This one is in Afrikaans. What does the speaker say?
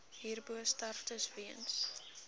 hierbo sterftes weens